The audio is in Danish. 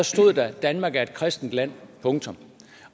stod der at danmark er et kristent land punktum